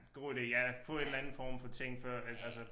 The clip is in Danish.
God ide ja få en eller anden form for ting før at altså